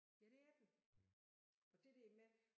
Ja det er den og det der med